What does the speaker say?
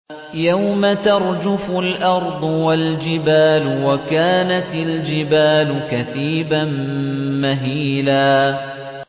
يَوْمَ تَرْجُفُ الْأَرْضُ وَالْجِبَالُ وَكَانَتِ الْجِبَالُ كَثِيبًا مَّهِيلًا